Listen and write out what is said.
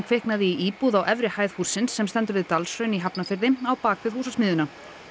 kviknaði í íbúð á efri hæð hússins sem stendur við Dalshraun í Hafnarfirði á bak við Húsasmiðjuna